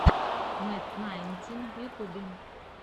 мэт найнтин в ютьюбе